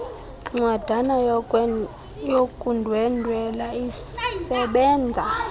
ncwadana yokundwendwela isebenza